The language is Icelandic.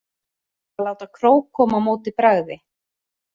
Að láta krók koma á móti bragði